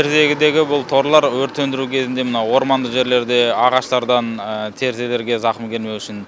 терезедгі бұл торлар өрт сөндіру кезінде мына орманды жерлерде ағаштардан терезелерге зақым келмеу үшін